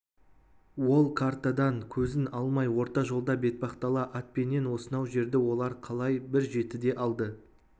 ол картадан көзін алмай орта жолда бетпақдала атпенен осынау жерді олар қалай бір жетіде алды